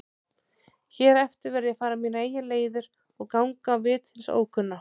Hér eftir verð ég að fara mínar eigin leiðir og ganga á vit hins ókunna.